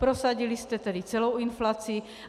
Prosadili jste tedy celou inflaci.